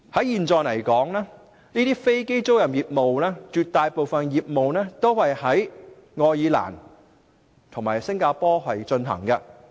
現時，這些飛機租賃業務絕大部分都是在愛爾蘭及新加坡進行。